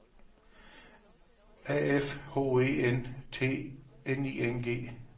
A F H E N T N I N G